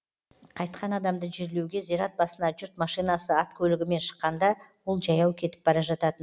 қайтқан адамды жерлеуге зират басына жұрт машинасы ат көлігімен шыққанда ол жаяу кетіп бара жататын